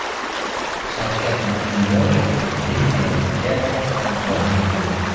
Shavkat Mirziyoyev Vengriyaga hamdardlik bildirdi.